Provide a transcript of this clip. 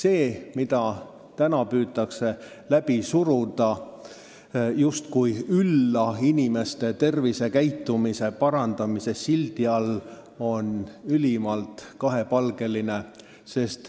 Eelnõu, mida täna püütakse läbi suruda justkui ülla inimeste tervisekäitumise parandamise sildi all, on ülimalt kahepalgeline.